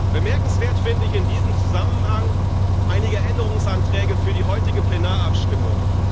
Bemerkenswert finde ich in diesem Zusammenhang einige Änderungsanträge für die heutige Plenarabstimmung.